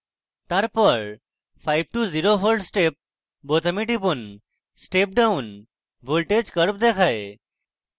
তারপর 5 to 0v step বোতামে টিপুন step down voltage curve দেখায়